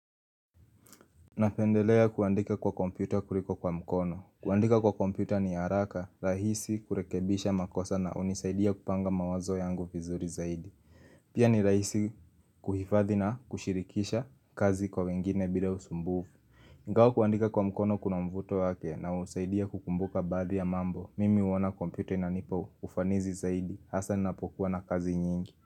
Napendelea kuandika kwa kompyuta kuliko kwa mkono kuandika kwa kompyuta ni araka, rahisi kurekebisha makosa na unisaidia kupanga mawazo yangu vizuri zaidi Pia ni rahisi kuhifadhi na kushirikisha kazi kwa wengine bila usumbuvu ingawa kuandika kwa mkono kuna mvuto wake na usaidia kukumbuka baadhi ya mambo Mimi uona kompyuta inanipa ufanizi zaidi hasa ninapokuwa na kazi nyingi.